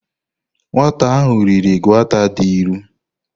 Nwata ahu riri gauta di ilu.